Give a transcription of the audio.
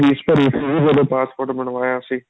ਤੁਸੀਂ ਜਦੋਂ passport ਬਣਵਾਇਆ ਸੀ